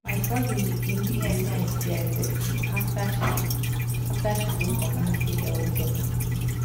my cousin begin dey use sti testing after she after she go community health talk.